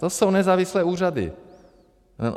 To jsou nezávislé úřady.